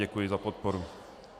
Děkuji za podporu.